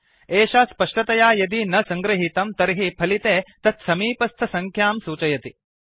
एषा स्पष्टतया यदि न सङ्गृहीतं तर्हि फलिते तत्समीपस्थसङ्ख्यां सूचयति